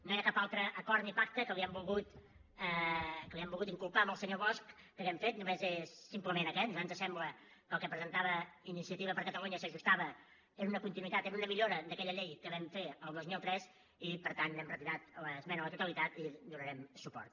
no hi ha cap altre acord ni pacte com li ho han volgut inculpar al senyor bosch que hàgim fet només és simplement aquest a nosaltres ens sembla que el que presentava iniciativa per catalunya s’ajustava era una continuïtat era una millora d’aquella llei que vam fer el dos mil tres i per tant n’hem retirat l’esmena a la totalitat i hi donarem suport